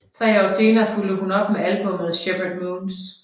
Tre år senere fulgte hun op med albummet Shepherd Moons